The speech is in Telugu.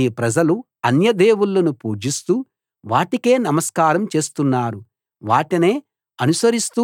ఈ ప్రజలు అన్య దేవుళ్ళను పూజిస్తూ వాటికే నమస్కారం చేస్తున్నారు వాటినే అనుసరిస్తూ